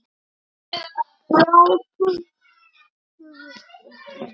Þrjá tuttugu og fimm